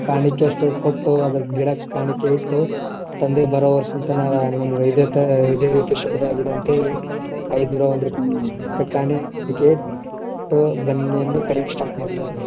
ಕಾಣಿಕೆ ಅಷ್ಟು ಕೊಟ್ಟು ಅದ್ ಗಿಡಕ್ ಕಾಣಿಕೆ ಇಟ್ಟು ತಂದೆ ಬರು ವರ್ಷ ಇದೆ ಥರಾ ಇದೆ ರೀತಿ ಶುಭಾದಾಗಿರ್ ಅಂತೇಳಿ ಬನ್ನಿಯನ್ನ ಕಡಿಯಾಕೆ start ಮಾಡ್ತಾರ್.